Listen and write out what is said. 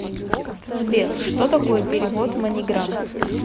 сбер что такое перевод маниграм